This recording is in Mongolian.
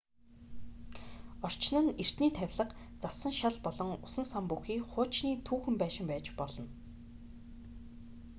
орчин нь эртний тавилга зассан шал болон усан сан бүхий хуучны түүхэн байшин байж болно